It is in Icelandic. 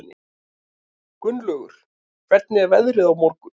Gunnlaugur, hvernig er veðrið á morgun?